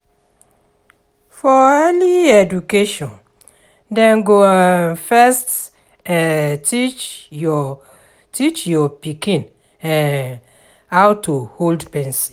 For early education, dem go um first um teach your teach your pikin um how to hold pencil.